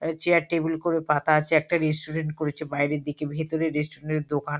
এ chair table -গুলো পাতা আছে। একটা রেস্টুরেন্ট করেছে বাইরের দিকে। ভেতরে রেস্টুরেন্ট দোকান।